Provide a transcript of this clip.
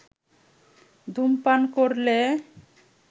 ধূমপান করলে